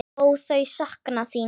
Ó, þau sakna þín.